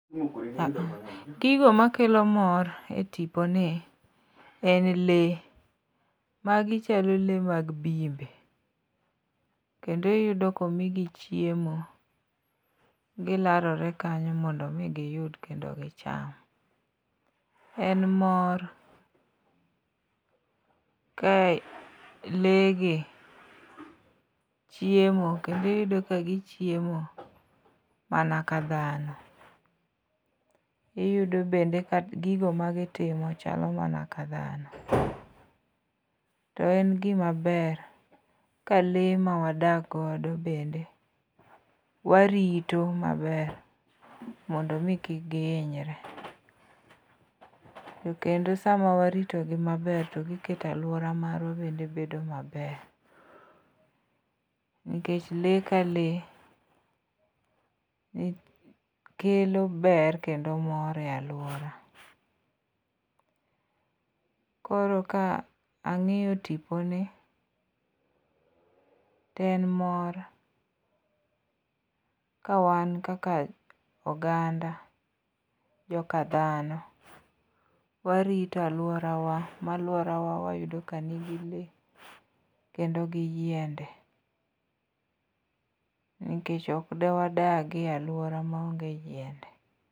Gigo makelo mor e tiponi en lee ,magi chalo lee mag bimbe kendo iyudo komigi chiemo, gilarore kanyo mondo omi giyud kendo gicham. En mor, ka lee gi chiemo kendo iyudo ka gichiemo mana ka dhano, iyudo bende ka gigo magitimo chalo mana ka dhano. To en gimaber ka lee mawadak godo bende warito maber mondo omi kik gihinyre, to kendo sama waritogi maber to giketo alwora marwa bende bedo maber. Nikech lee ka lee kelo ber kendo mor e alwora. Koro ka ang'iyo tiponi, to en mor kawan kaka oganda ,joka dhano warito alworawa, ma alworawa wayudo ka nigi lee kendo gi yiende. Nikech ok dewadagi e alwora maonge yiende.